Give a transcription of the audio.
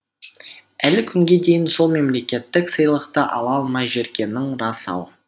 әлі күнге дейін сол мемлекеттік сыйлықты ала алмай жүргенің рас ау